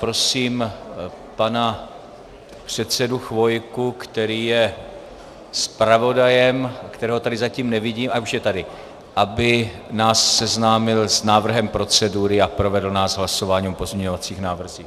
Prosím pana předsedu Chvojku, který je zpravodajem, kterého tady zatím nevidím... a už je tady, aby nás seznámil s návrhem procedury a provedl nás hlasováním o pozměňovacích návrzích.